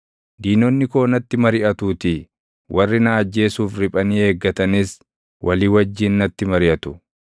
Diinonni koo natti mariʼatuutii; warri na ajjeesuuf riphanii eeggatanis walii wajjin natti mariʼatu.